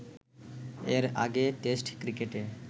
এর আগে টেস্ট ক্রিকেটে